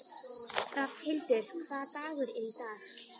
Rafnhildur, hvaða dagur er í dag?